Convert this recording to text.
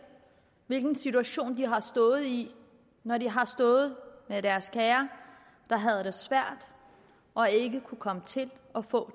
hvilken situation de har stået i når de har stået med deres kære der havde det svært og ikke kunne komme til at få